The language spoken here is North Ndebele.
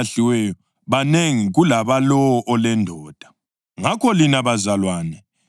Ngalesosikhathi indodana eyazalwa ngokwenyama yahlukuluza indodana eyazalwa ngamandla kaMoya. Kunjalo lakhathesi.